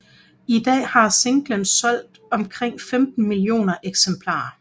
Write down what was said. I dag har singlen solgt omkring 15 millioner eksemplarer